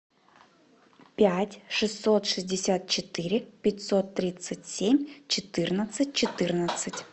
пять шестьсот шестьдесят четыре пятьсот тридцать семь четырнадцать четырнадцать